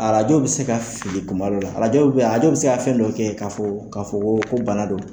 Arajo bɛ se ka fili kuma dɔ la, arajo dɔ bɛ yan, arajo bɛ se ka fɛn dɔ kɛ k'a fɔ ko bana don.